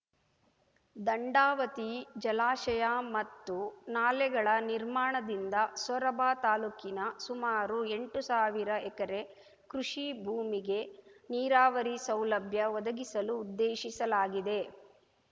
ದಂಡಾವತಿ ಜಲಾಶಯ ಮತ್ತು ನಾಲೆಗಳ ನಿರ್ಮಾಣದಿಂದ ಸೊರಬ ತಾಲೂಕಿನ ಸುಮಾರು ಎಂಟು ಸಾವಿರ ಎಕರೆ ಕೃಷಿ ಭೂಮಿಗೆ ನೀರಾವರಿ ಸೌಲಭ್ಯ ಒದಗಿಸಲು ಉದ್ದೇಶಿಸಲಾಗಿದೆ